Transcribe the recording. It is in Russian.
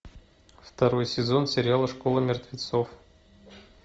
второй сезон сериала школа мертвецов